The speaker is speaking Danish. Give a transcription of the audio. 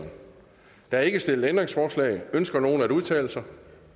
er ikke stillet ændringsforslag ønsker nogen at udtale sig